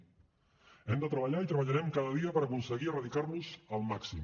hem de treballar i treballarem cada dia per aconseguir erradicar los al màxim